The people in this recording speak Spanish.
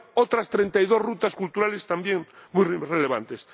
Pero hay otras treinta y dos rutas culturales también muy relevantes.